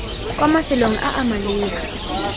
kwa mafelong a a maleba